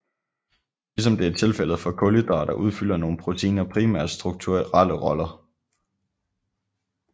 Ligesom det er tilfældet for kulhydrater udfylder nogle proteiner primært strukturelle roller